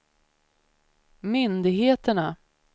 myndigheterna